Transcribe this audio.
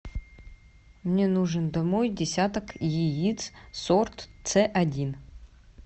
мне нужен домой десяток яиц сорт ц один